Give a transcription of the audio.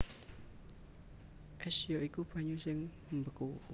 Ès ya iku banyu sing mbeku